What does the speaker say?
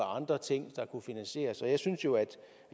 andre ting der kunne finansieres jeg synes jo